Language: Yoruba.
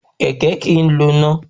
Kẹ̀kẹ́ kìí lò iná